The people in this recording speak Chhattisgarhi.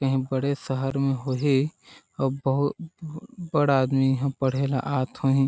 कही बड़े शहर में होही अउ बहुत बड़े आदमी इहा पढ़े ला आत होही।